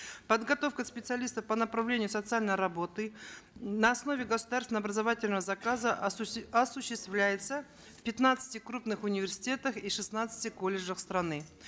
подготовка специалистов по направлению социальной работы на основе государственного образовательного заказа осуществляется в пятнадцати крупных университетах и шестнадцати колледжах страны